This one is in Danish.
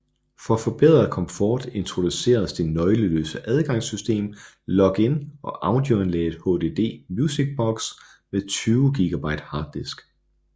For forbedret komfort introduceredes det nøgleløse adgangssystem Login og audioanlægget HDD Music Box med 20 GB harddisk